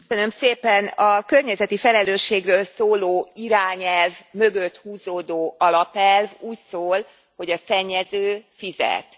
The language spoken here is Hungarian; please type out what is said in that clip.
Elnök Úr! A környezeti felelősségről szóló irányelv mögött húzódó alapelv úgy szól, hogy a szennyező fizet.